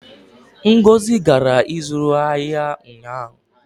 ngozi gara ịzụ ahịa ụnyaahụ